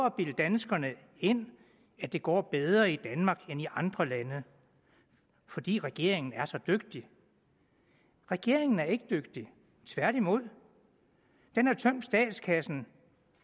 at bilde danskerne ind at det går bedre i danmark end i andre lande fordi regeringen er så dygtig regeringen er ikke dygtig tværtimod den har tømt statskassen